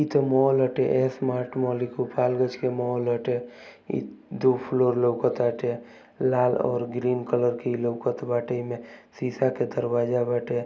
ई त मॉल हटे। एस मार्ट मॉल ई गोपालगंज के मॉल हटे। ई दो फ्लोर लौकताटे। लाल और ग्रीन कलर के ई लौकत बाटे। एमे शीशा के दरवाजा बाटे।